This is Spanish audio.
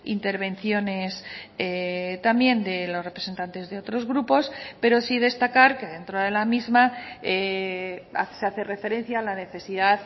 intervenciones también de los representantes de otros grupos pero sí destacar que dentro de la misma se hace referencia a la necesidad